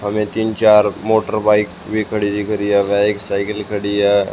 हमें तीन चार मोटर बाइक भी खड़ी दिख रही है वे एक साइकल खड़ी है।